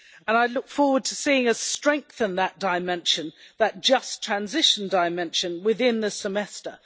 I look forward to seeing us strengthen that dimension that just transition dimension within the Semester.